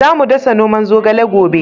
Za mu dasa noman zogale gobe